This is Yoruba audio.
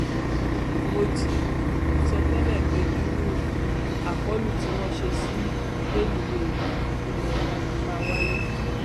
mo ti um sọ tẹlẹ pé irú um àkọlù tí wọn ṣe sí rélùwéè ilé wa yìí máa wáyé